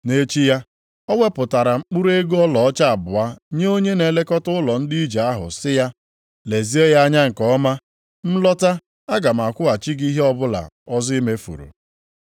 Nʼechi ya, o wepụtara mkpụrụ ego ọlaọcha abụọ nye onye na-elekọta ụlọ ndị ije ahụ sị ya, ‘Lezie ya anya nke ọma. M lọta aga m akwụghachi gị ihe ọbụla ọzọ i mefuru.’